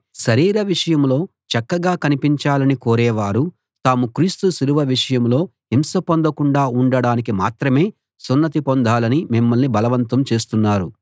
శరీర విషయంలో చక్కగా కనిపించాలని కోరే వారు తాము క్రీస్తు సిలువ విషయంలో హింస పొందకుండా ఉండడానికి మాత్రమే సున్నతి పొందాలని మిమ్మల్ని బలవంతం చేస్తున్నారు